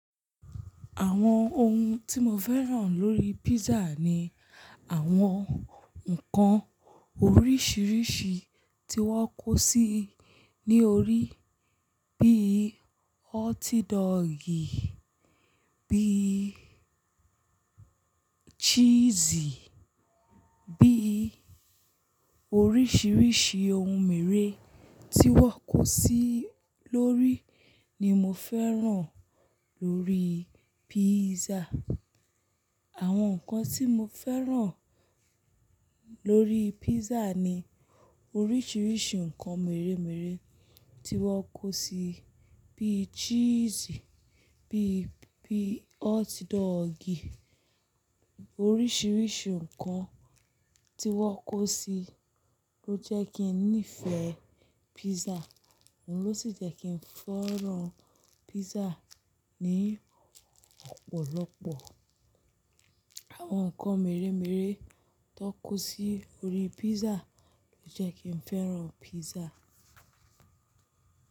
Àwọn ohun tí mo fẹ́ràn lórí pízzaà ni àwọn nǹkan oríṣiríṣi tí wọ́n kó sí ní orí bí i hotdogi, bí i cheese, bí i oríṣiríṣi ohun mère tí wọ́n kó sí lórí ni mo fẹ́ràn lórí pízzà. Àwọn nǹkan tí mo fẹ́ràn lórí pízza ni oríṣiríṣi nǹkan mèremère tí wọ́n kó sí bíi cheese, bí i, bí i hotdogi. Oríṣiríṣi nǹkan tí wọ́n kó sí ló jẹ́ kí n nífẹ̀ẹ́ pízzà, òhun ló sì jẹ́ kí n fẹ́ràn pízzà ní ọ̀pọ̀lọpọ̀. Àwọn nǹkan mèremère tó kó sí orí písà ló jẹ́ kí n fẹ́ràn písà.